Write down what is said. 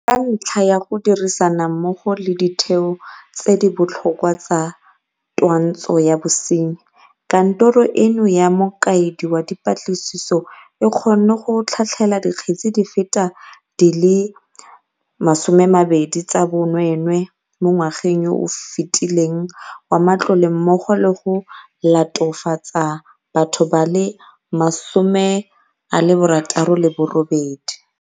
Ka ntlha ya go dirisana mmogo le ditheo tse di botlhokwa tsa twantsho ya bosenyi, Kantoro eno ya Mokaedi wa Dipatlisiso e kgonne go tlhatlhela dikgetse di feta di le 20 tsa bonwee nwee mo ngwageng yo o fetileng wa matlole mmogo le go latofatsa batho ba le 68.